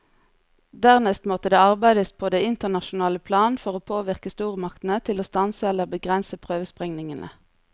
Dernest måtte det arbeides på det internasjonale plan for å påvirke stormaktene til å stanse eller begrense prøvesprengningene.